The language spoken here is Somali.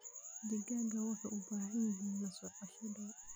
Digaagga waxay u baahan yihiin la socosho dhow.